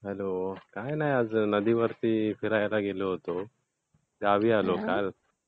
Hello. काही नाही. आज नदीवरती फिरायला गेलो होतो. गावी आलो काल.